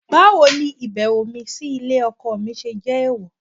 Báwo ni ìbẹ̀wò mi sí ilé ọkọ mi ṣe jẹ́ èèwọ̀?